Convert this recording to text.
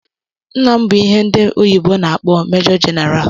Nna m bụ ihe ndi oyibo na akpo "Major General".